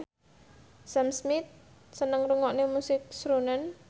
Sam Smith seneng ngrungokne musik srunen